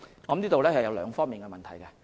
我認為這牽涉兩方面的問題。